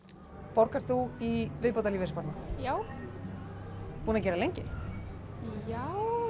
borgar þú í viðbótarlífeyrissparnað já búin að gera lengi já